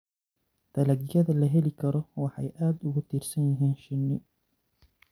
Dalagyada la heli karo waxay aad ugu tiirsan yihiin shinni.